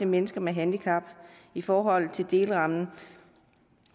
mennesker med handicap i forhold til delrammen